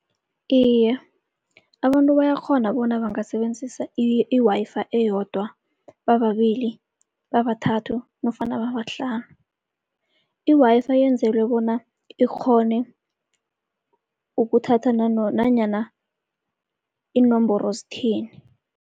Iye, abantu bayakghona bona bangasebenzisa i-Wi-Fi eyodwa bababili, babathathu nofana babahlanu. I-Wi-Fi yenzelwe bona ikghone ukuthatha nanyana iinomboro zithini.